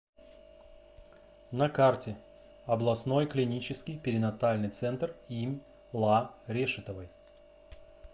на карте областной клинический перинатальный центр им ла решетовой